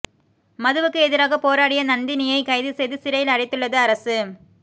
மதுவுக்கு எதிராக போராடிய நந்தினியை கைது செய்து சிறையில் அடைத்துள்ளது அரசு